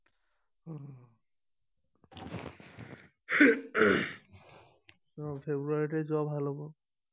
ফ্ৰেব্ৰুৱাৰীতে যোৱা ভাল হব